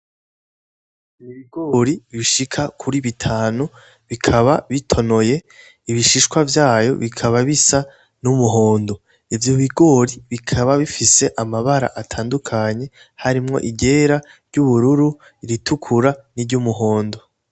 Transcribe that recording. Ibigori bishika kuri bitanu bikaba bitonoye, ibishishwa vyayo bikaba bisa n'umuhondo. Ivyo bigori bikaba bifse amabara atandukanye, harimwo iryera, iry'ubururu, iritukura, n'iry'umuhondo.